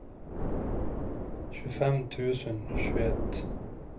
tjugofem tusen tjugoett